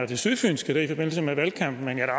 det sydfynske i forbindelse med valgkampen men jeg er